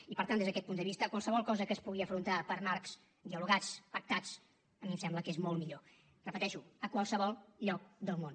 i per tant des d’aquest punt de vista qualsevol cosa que es pugui afrontar per marcs dialogats pactats a mi em sembla que és molt millor ho repeteixo a qualsevol lloc del món